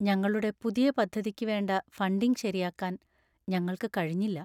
ഞങ്ങളുടെ പുതിയ പദ്ധതിക്ക് വേണ്ട ഫണ്ടിങ് ശരിയാക്കാൻ ഞങ്ങൾക്ക് കഴിഞ്ഞില്ല.